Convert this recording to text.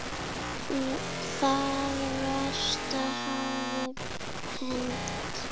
Það versta hafði hent.